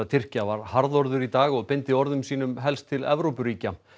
Tyrkja var harðorður í dag og beindi orðum sínum helst til Evrópuríkja